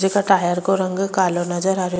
जेका टायर को रंग कालो नजर आ रेहो --